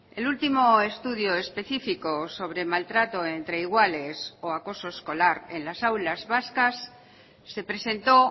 el último estudio específico sobre maltrato entre iguales o acoso escolar en las aulas vascas se presentó